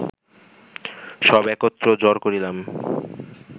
সব একত্র জড় করিলাম